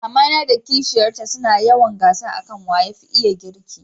mamana da kishiyar ta su na yawan gasa a kan waya fi juna girki